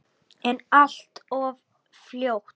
En allt of fljótt.